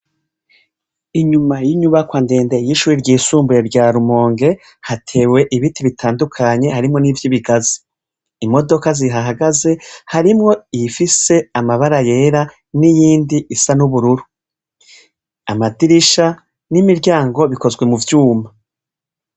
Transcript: Inyuma y'inyubakwa ndende y'ishure ry'isumbuye rya Rumonge, hatewe ibiti bitandukanye, harimo n'ivyi ibigazi. Imodoka zihahagaze, harimo iyifise amabara yera n'iyindi isa n'ubururu. Amadirisha n'imiryango bikozwe mu vyuma.